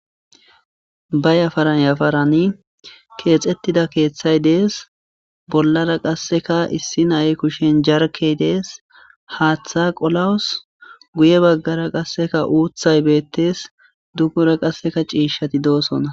ba yafaran yafaran keexettida keeththay dees. bollara qasseka issi nayi kushen jarkey dees .haaththa qolawus guye baggara qasseka uuthay beettes. dugora qasseka ciishati doosona.